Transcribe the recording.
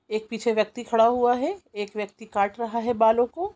एक पीछे व्यक्ति खड़ा हुआ है एक व्यक्ति काट रहा है बालों को।